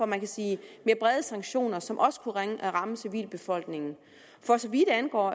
man sige mere brede sanktioner som også kunne ramme civilbefolkningen for så vidt angår